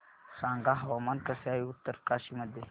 सांगा हवामान कसे आहे उत्तरकाशी मध्ये